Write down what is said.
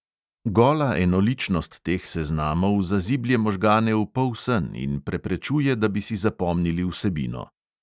Gola enoličnost teh seznamov zaziblje možgane v polsen in preprečuje, da bi si zapomnili vsebino.